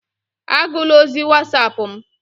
Agụla ozi Wasapu m!